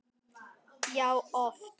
Já, oft!